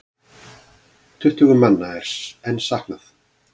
Tuttugu manna er enn saknað.